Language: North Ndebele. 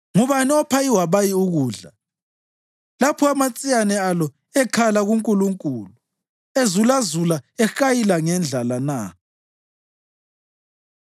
Ngubani opha iwabayi ukudla lapho amatsiyane alo ekhala kuNkulunkulu ezulazula ehayila ngendlala na?”